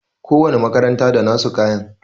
Ko wani makaranta da nasu kayan